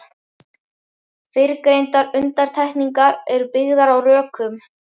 Fyrrgreindar undantekningar eru byggðar á rökum.